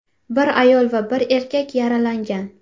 Bir ayol va bir erkak yaralangan.